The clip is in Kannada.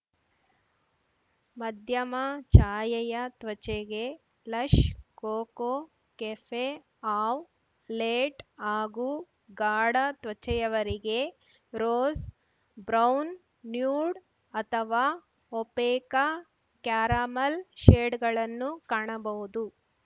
ಮಧ್ಯಮ ಛಾಯೆಯ ತ್ವಚೆಗೆ ಲಶ್‌ ಕೋಕೊ ಕೆಫೆಆವ್‌ ಲೇಟ್‌ ಹಾಗೂ ಗಾಢ ತ್ವಚೆಯವರಿಗೆ ರೋಸ್‌ ಬ್ರೌನ್‌ ನ್ಯೂಡ್‌ ಅಥವಾ ಒಪೇಕ ಕ್ಯಾರಮಲ್‌ ಶೇಡ್‌ಗಳನ್ನು ಕಾಣಬಹುದು